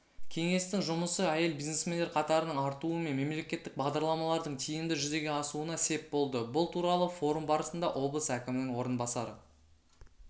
кеңестің жұмысы әйел бизнесмендер қатарының артуы мен мемлекеттік бағдарламалардың тиімді жүзеге асуына сеп болды бұл туралы форум барысында облыс әкімінің орынбасары